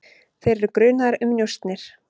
Þeir eru grunaðir um njósnir.